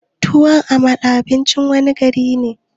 Tuwon amala abincin wanne gari ne?